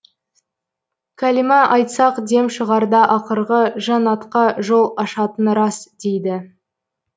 кәлима айтсақ дем шығарда ақырғы жаннатқа жол ашатыны рас дейді